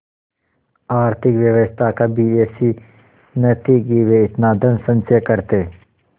आर्थिक व्यवस्था कभी ऐसी न थी कि वे इतना धनसंचय करते